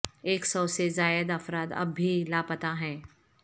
ایک سو سے زائد افراد اب بھی لاپتہ ہیں